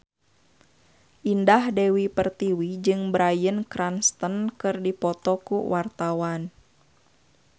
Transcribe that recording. Indah Dewi Pertiwi jeung Bryan Cranston keur dipoto ku wartawan